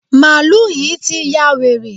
Màálù yí ti ya wèrè.